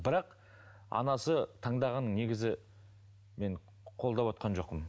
бірақ анасы таңдағанын негізі мен қолдап отырған жоқпын